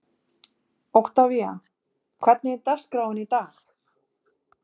Oktavía, hvernig er dagskráin í dag?